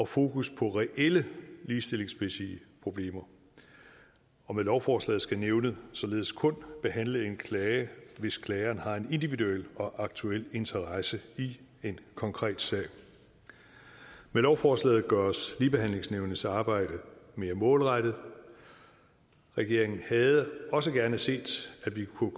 fokus på reelle ligestillingsmæssige problemer og med lovforslaget skal nævnet således kun behandle en klage hvis klageren har en individuel og aktuel interesse i en konkret sag med lovforslaget gøres ligebehandlingsnævnets arbejde mere målrettet regeringen havde også gerne set at vi kunne